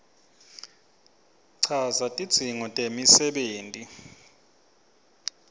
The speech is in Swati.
chaza tidzingo temisebenti